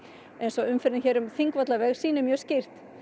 eins og umferðin hér um Þingvallaveg sýnir mjög skýrt